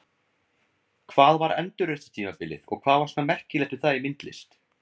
Hvað var endurreisnartímabilið og hvað var svona merkilegt við það í myndlist?